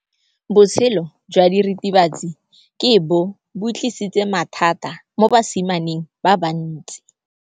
Botshelo jwa diritibatsi ke bo tlisitse mathata mo basimaneng ba bantsi.